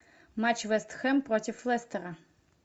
матч вест хэм против лестера